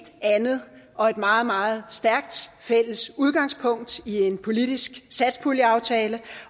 andet og meget meget stærkt fælles udgangspunkt i en politisk satspuljeaftale